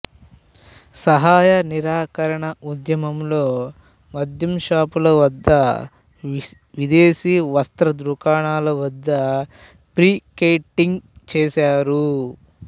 సహాయ నిరాకరణ ఉద్యమంలో మద్యం షాపుల వద్ద విదేశీ వస్త్ర దుకాణాల వద్ద పికెటింగ్ చేశారు